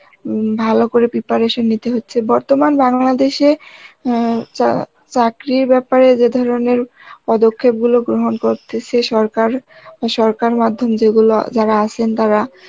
উম ভালো করে preparation নিতে হচ্ছে বর্তমান বাংলাদেশে অ্যাঁ চা~ চাকরির ব্যাপারে যে ধরনের পদক্ষেপগুলো গ্রহণ করতেসে সরকার, আর সরকার মাধ্যম যেগুলো যারা আছেন তারা